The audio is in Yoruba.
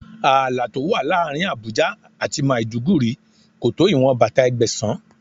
Ààlà tó wà láàárín Àbújá àti Màdúgùri kò tó ìwọn bàtà Ẹgbẹ̀sán.